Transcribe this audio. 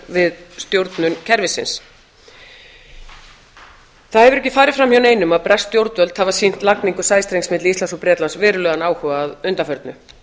við stjórnun kerfisins það hefur ekki farið framhjá neinum að bresk stjórnvöld hafa sýnt lagningu sæstrengs milli íslands og bretlands verulegan áhuga að undanförnu